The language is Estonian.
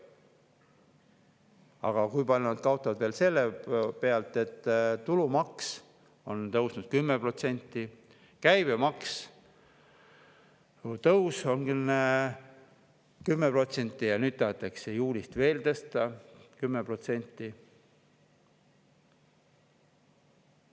Aga kui palju nad kaotavad veel sellepärast, et tulumaks on tõusnud 10%, käibemaksu tõus on olnud 10% ja nüüd tahetakse juulist veel tõsta 10%?